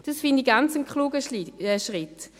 Das finde ich einen ganz klugen Schritt.